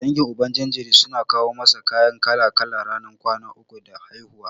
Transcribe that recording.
Dangin Uban jinjiri suna kawo masa kaya kala-kala ranar kwana uku da haihuwa.